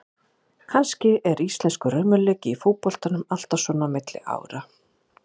Kannski er íslenskur raunveruleiki í fótboltanum alltaf svona á milli ára.